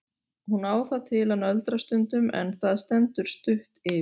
Hún á það til að nöldra stundum en það stendur stutt yfir.